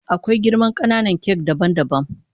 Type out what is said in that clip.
Akwai girman kananan kak daban daban.